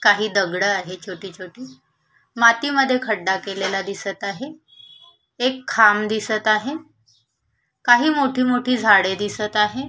काही दगड आहे छोटी छोटी मातीमध्ये खड्डा केलेला दिसत आहे एक खांब दिसत आहे काही मोठी मोठी झाडे दीसत आहे.